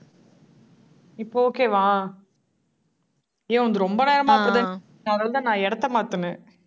இப்போ okay வா? ஏய் உன்து ரொம்ப நேரமா அப்பிடித்தான் கேக்குது அதனால தான், நான் இடத்தை மாத்துனேன்